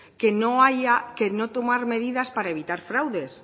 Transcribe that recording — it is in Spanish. que no tomar medidas para evitar fraudes